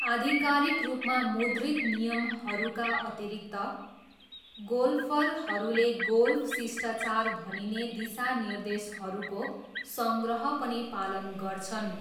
आधिकारिक रूपमा मुद्रित नियमहरूका अतिरिक्त, गोल्फरहरूले गोल्फ शिष्टाचार भनिने दिशानिर्देशहरूको सङ्ग्रह पनि पालन गर्छन्।